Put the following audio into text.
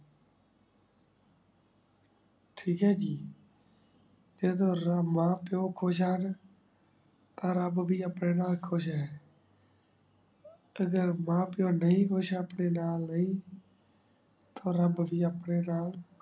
talk ਹੈ ਜੀ ਤੇ ਅਗਰ ਰਾ ਮਾਂ ਪੀਏਓ ਖੁਸ਼ ਹੁਣ ਤਾ ਰਾਬ ਵੀ ਅਪਨੇ ਨਾਲ ਖੁਸ਼ ਹੈ ਤੇ ਅਗਰ ਮਾਂ ਪੀਏਓ ਨਹੀ ਖੁਸ਼ ਅਪਨੇ ਨਾਲ ਨਾਈ ਤਾ ਰਾਬ ਵੀ ਅਪਨੇ ਨਾਲ